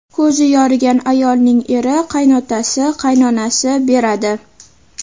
Ko‘zi yorigan ayolning eri, qaynotasi, qaynonasi beradi.